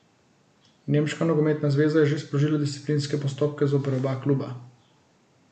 Nemška nogometna zveza je že sprožila disciplinske postopke zoper oba kluba.